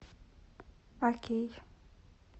окей